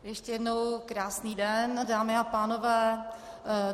Ještě jednou krásný den, dámy a pánové.